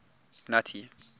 nuttie